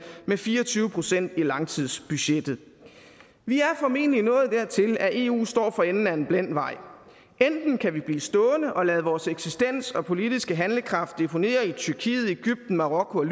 med fire og tyve procent i langtidsbudgettet vi er formentlig nået dertil at eu står for enden af en blind vej enten kan vi blive stående og lade vores eksistens og politiske handlekraft deponere i tyrkiet egypten marokko